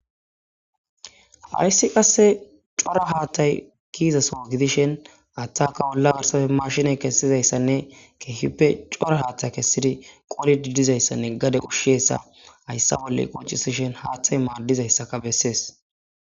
hayssi qasse cora haattay kiizaso gidishen aththaka wolla garsafe mashinay kessizayssanne keehippe cora haathta kessidi qoli didizayssanne gade ushsheessa hayssa bolle qoncisishen haaththay maaddizayssaka bessees